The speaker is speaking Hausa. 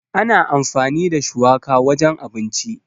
Ana amfani da shuwaka wajen abinci.